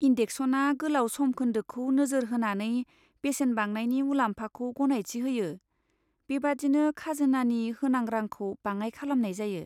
इन्देक्सेशना गोलाव समखोन्दोखौ नोजोर होनानै बेसेन बांनायनि मुलाम्फाखौ गनायथि होयो, बेबादिनो खाजोनानि होनां रांखौ बाङाइ खालामनाय जायो।